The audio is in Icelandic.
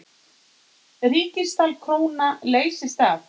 Ríksdal króna leysti af.